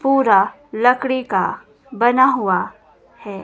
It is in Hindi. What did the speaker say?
पूरा लकड़ी का बना हुआ है।